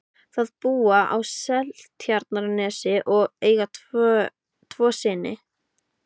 Þau búa á Seltjarnarnesi og eiga tvo syni.